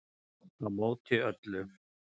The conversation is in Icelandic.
Á móti öllu